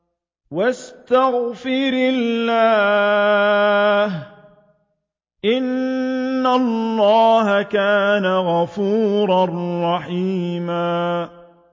وَاسْتَغْفِرِ اللَّهَ ۖ إِنَّ اللَّهَ كَانَ غَفُورًا رَّحِيمًا